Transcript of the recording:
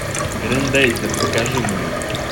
грендайзер покажи мне